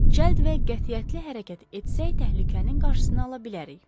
Cəld və qətiyyətli hərəkət etsək, təhlükənin qarşısını ala bilərik.